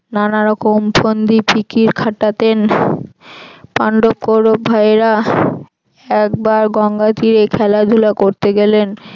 নানা রকম ফন্দি ফিকির খাটাতেন। পান্ডব কৌরব ভাইয়েরা একবার গঙ্গার তীরে খেলাধূলা করতে গেলেন